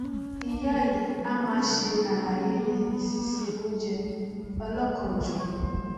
ìyá yìí a máa ṣe àlàyé síse oúnjẹ ọlọkanòjọkan